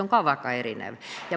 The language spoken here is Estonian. See on väga erinev.